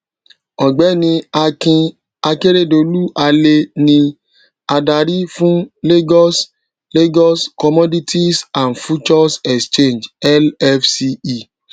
ọgbẹni akin akeredolu ale ní adarí fún lagos lagos commodities and futures exchange lfce